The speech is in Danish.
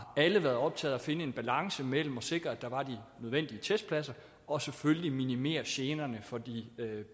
været optaget af at finde en balance mellem at sikre at der var de nødvendige testpladser og selvfølgelig minimere generne for de